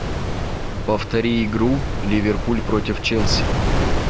повтори игру ливерпуль против челси